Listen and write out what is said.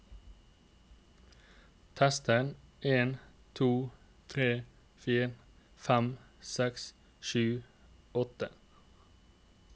Tester en to tre fire fem seks sju åtte